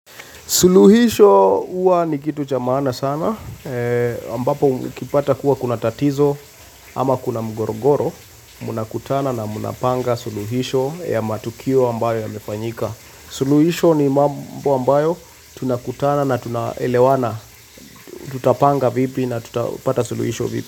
Suluhisho huwa ni kitu cha maana sana, ambapo ukipata kuwa kuna tatizo ama kuna mgorogoro, mnakutana na mnapanga suluhisho ya matukio ambayo yamefanyika. Suluhisho ni mambo ambayo tunakutana na tunaelewana, tutapanga vipi na tutapata suluhisho vipi.